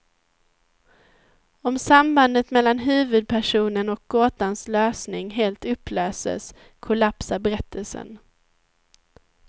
Om sambandet mellan huvudpersonen och gåtans lösning helt upplöses, kollapsar berättelsen.